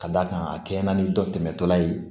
Ka d'a kan a kɛɲɛna ni dɔ tɛmɛtɔla ye